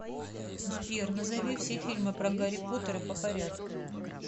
сбер назови все фильмы про гарри поттера по порядку